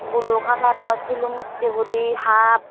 bulu kalarw silum ussey guri hap.